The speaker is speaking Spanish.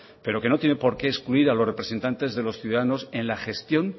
pero que no tiene porque excluir a los representantes de los ciudadanos en la gestión